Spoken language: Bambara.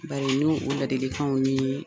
Bari n'o o ladilikanw nii